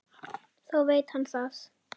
Þá veit hann það!